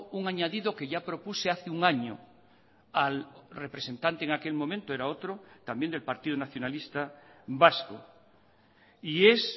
un añadido que ya propuse hace un año al representante en aquel momento era otro también del partido nacionalista vasco y es